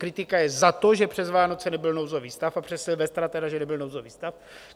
Kritika je za to, že přes Vánoce nebyl nouzový stav a přes silvestra tedy že nebyl nouzový stav.